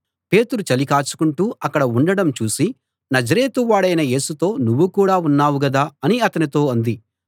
పేతురు చలి కాచుకుంటూ అక్కడ ఉండడం చూసి నజరేతు వాడైన యేసుతో నువ్వు కూడా ఉన్నావుగదా అని అతనితో అంది